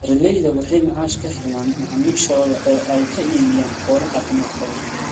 Beeralayda waxay macaash ka helaan macaamiishooda oo ay ka iibiyaan xoolo caafimaad qaba.